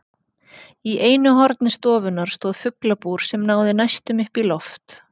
Í einu horni stofunnar stóð fuglabúr sem náði næstum upp í loft.